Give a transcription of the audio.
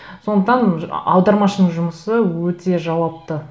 сондықтан аудармашының жұмысы өте жауапты